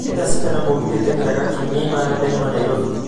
nĩ thaa cigana mũgithi ũteng'eraga kiũmia imara daima nairobi